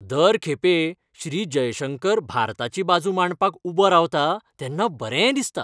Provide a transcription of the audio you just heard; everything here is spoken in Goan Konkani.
दर खेपे श्री. जयशंकर भारताची बाजू मांडपाक उबो रावता तेन्ना बरें दिसता.